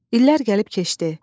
İllər gəlib keçdi.